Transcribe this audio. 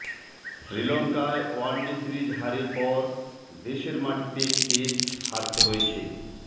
শ্রীলঙ্কায় one day series হারের পর দেশের মাটিতে টেস্ট হারতে হয়েছে